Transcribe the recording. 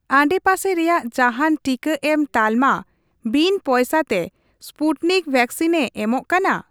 ᱟᱰᱮᱯᱟᱥᱮ ᱨᱮᱭᱟᱜ ᱡᱟᱦᱟᱸᱱ ᱴᱤᱠᱟᱹ ᱮᱢ ᱛᱟᱞᱢᱟ ᱵᱤᱱ ᱯᱚᱭᱥᱟ ᱛᱮ ᱥᱯᱩᱴᱱᱤᱠ ᱣᱮᱠᱥᱤᱱᱮ ᱮᱢᱚᱜ ᱠᱟᱱᱟ ?